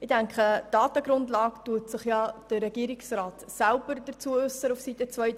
Zur Datengrundlage äussert sich ja der Regierungsrat selber auf Seite 32.